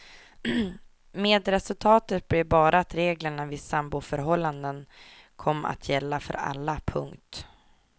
Med resultatet blev bara att reglerna vid samboförhållanden kom att gälla för alla. punkt